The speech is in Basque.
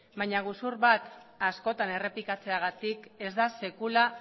baina gezur bat askotan errepikatzeagatik ez da sekula